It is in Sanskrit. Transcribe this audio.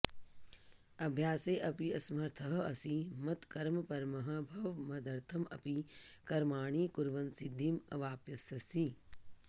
अभ्यासे अपि असमर्थः असि मत्कर्मपरमः भव मदर्थम् अपि कर्माणि कुर्वन् सिद्धिम् अवाप्स्यसि